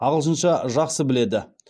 ағылшынша жақсы біледі